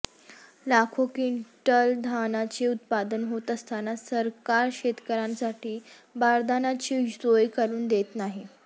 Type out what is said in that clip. लाखो क्विंटल धानाचे उत्पादन होत असताना सरकार शेतकऱ्यासाठी बारदाण्याचे सोय करून देत नाही